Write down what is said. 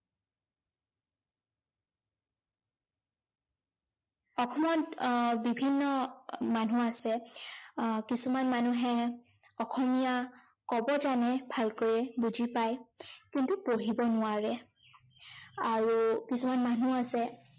অসমত আহ বিভিন্ন মানুহ আছে, আহ কিছুমান মানুহে অসমীয়া কব জানে ভালকৈ, বুজি পায়, কিন্তু পঢ়িব নোৱাৰে। আৰু কিছুমান মানুহ আছে